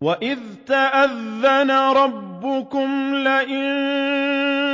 وَإِذْ تَأَذَّنَ رَبُّكُمْ لَئِن